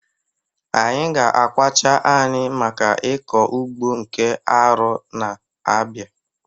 Anyị ga-akwacha anị maka ịkọ ugbo nke arọ na-abịa.